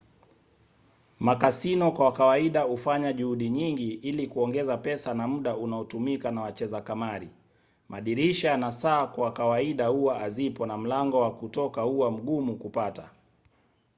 makasino kwa kawaida hufanya juhudi nyingi ili kuongeza pesa na muda unaotumika na wacheza kamari. madirisha na saa kwa kawaida huwa hazipo na mlango wa kutoka huwa mgumu kupata